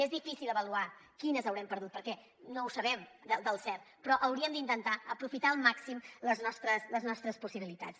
és difícil avaluar quines haurem perdut perquè no ho sabem del cert però hauríem d’intentar aprofitar al màxim les nostres possibilitats